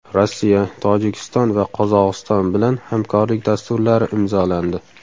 Rossiya, Tojikiston va Qozog‘iston bilan hamkorlik dasturlari imzolandi.